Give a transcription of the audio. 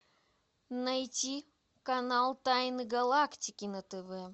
найти канал тайны галактики на тв